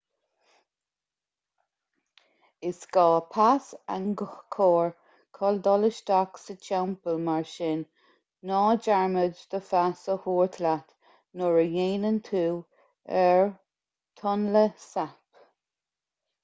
is gá pas angkor chun dul isteach sa teampall mar sin ná dearmad do phas a thabhairt leat nuair a dhéanann tú ar tonle sap